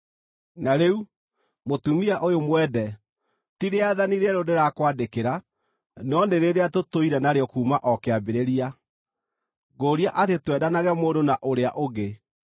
Na rĩu, mũtumia ũyũ mwende, ti rĩathani rĩerũ ndĩrakwandĩkĩra, no nĩ rĩrĩa tũtũire narĩo kuuma o kĩambĩrĩria. Ngũũria atĩ twendanage mũndũ na ũrĩa ũngĩ.